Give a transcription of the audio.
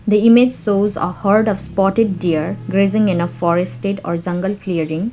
the image shows a herd of spotted deer grazing in a forested or jungle clearing.